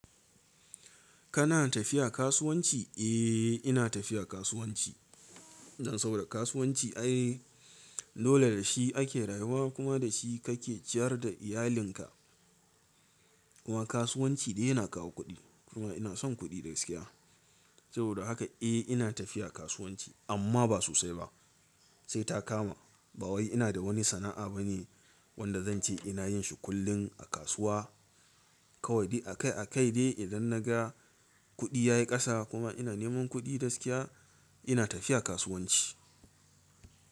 Kana tafiya kasuwanci? Eh, ina tafiya kasuwanci. Ina so da kasuwanci. Ai, dole da shi ake rayuwa kuma da shi kake ciyar da iyalinka. Kuma kasuwanci dai yana kawo kuɗi kuma ina son kuɗi da gaskiya. Saboda haka eh ina tafiya kasuwanci amma ba sosai ba. Sai ta kama ba wai ina da wani sana'a bane wanda zanci ina yin shi kullum a kasuwa. Kawai dai a kai a kai dai idan naga kuɗi ya yi ƙasa kuma ina neman kuɗi gaskiya ina tafiya kasuwanci.